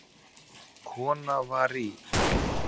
Kona var í